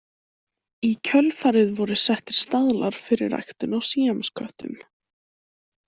Í kjölfarið voru settir staðlar fyrir ræktun á síamsköttum.